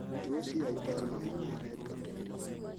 Tos iyoitoi ano mung'aret koterit?